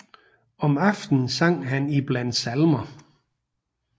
Om aftenen sang han iblandt salmer